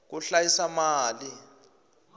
ku hlayisa mali